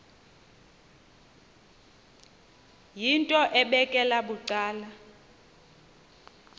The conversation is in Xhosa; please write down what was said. yinto ebekela bucala